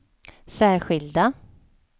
särskilda